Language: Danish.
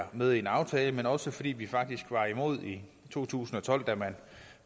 med i en aftale men også fordi vi faktisk var imod i to tusind og tolv da man